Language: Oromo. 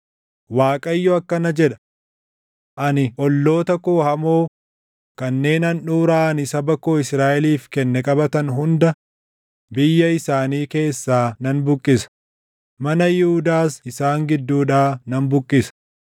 Waaqayyo akkana jedha; “Ani olloota koo hamoo kanneen handhuuraa ani saba koo Israaʼeliif kenne qabatan hunda biyya isaanii keessaa nan buqqisa; mana Yihuudaas isaan gidduudhaa nan buqqisa.